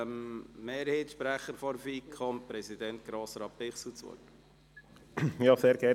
Ich erteile dem Sprecher der FiKo-Mehrheit, Grossrat Bichsel, das Wort.